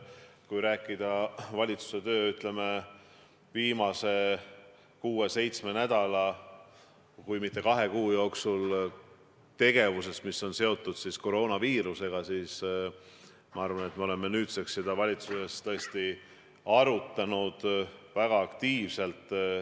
Kui rääkida valitsuse viimase kuue-seitsme nädala ja isegi kahe kuu tegevusest, mis on seotud koroonaviirusega, siis ma arvan, et me oleme nüüdseks seda valitsuses tõesti arutanud väga aktiivselt.